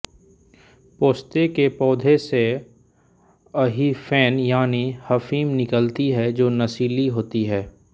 पोस्ते के पौधे से अहिफेन यानि अफीम निकलती है जो नशीली होती है